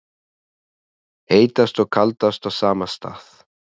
Heitast og kaldast á sama stað